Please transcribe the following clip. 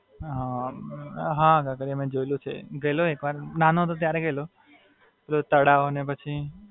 હાં, કાંકરિયા મી જોયેલું છે. ગયેલો એક વાર, નાનો હતો ત્યારે ગયેલો. તળાવ ને પછી,